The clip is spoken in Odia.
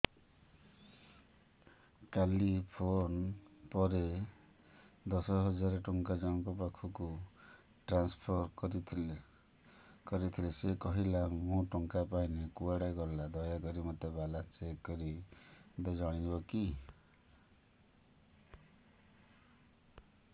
କାଲି ଫୋନ୍ ପେ ରେ ଦଶ ହଜାର ଟଙ୍କା ଜଣକ ପାଖକୁ ଟ୍ରାନ୍ସଫର୍ କରିଥିଲି ସେ କହିଲା ମୁଁ ଟଙ୍କା ପାଇନି କୁଆଡେ ଗଲା ଦୟାକରି ମୋର ବାଲାନ୍ସ ଚେକ୍ କରି ମୋତେ କହିବେ କି